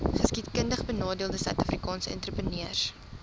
geskiedkundigbenadeelde suidafrikaanse entrepreneurs